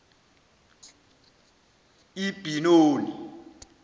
ibenoni